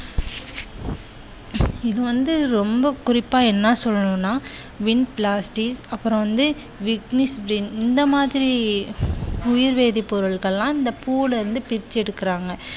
இது வந்து ரொம்ப குறிப்பா என்ன சொல்லனும்னா vinblastin அப்புறம் வந்து vignisbrin இந்த மாதிரி உயிர்வேதிப்பொருட்களெல்லாம் இந்த பூவுல இருந்து பிச்சு எடுக்குறாங்க.